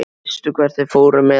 Veistu hvert þeir fóru með hann?